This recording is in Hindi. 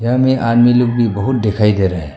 यहां में आदमी लोग भी बहुत दिखाई दे रहा है।